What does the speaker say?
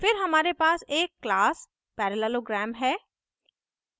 फिर हमारे पास एक class parallelogram है